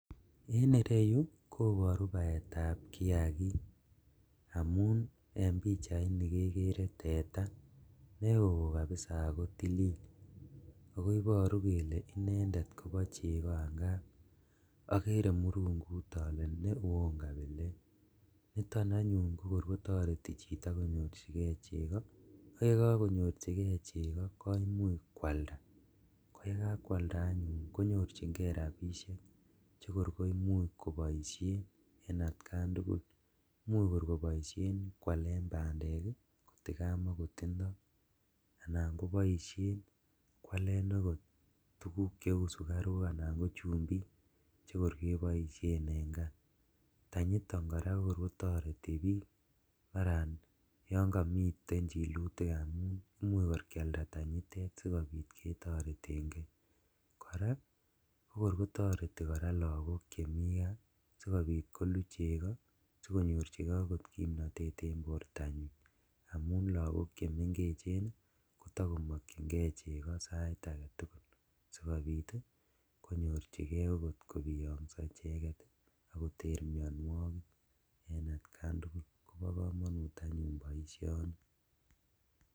En ireyu koboru baetab kiakik amun en pichaini kekere teta neo kabisa ako tilil, ako iboru kele inendet kobo cheko angap okere murungut ole ne won kabilet niton anyun kokor kotoreti chito cheko, ak yokokonyorjigee koimuch kwalda koyekakwalda anyun konyorjingee rabishek chekor koimuch koboishen en atkan tugul imuch kor keboishen kwalen bandek ii kotikamakotindo anan koboishen okot kwalen tuguk cheu sukaruk anan ko chumbik chekor keboishen en kaa ,tanyiton koraa kokor kotoreti bik maran yon komiten chilutik amun imuch kor kwalda tanyitet sikobit ketoreten ngee, koraa kokor kotoreti lagok chemi kaa sikobit kolu cheko sikonyorjigee okot kimnotet en bortanyin amun lagok chemengechen ii kotokomokyingee cheko sait aketugul, sikobit ii konyorjigee okot kobiyongso icheket ak koter mionuokik en atkan tugul kobo komonut anyun boisioni.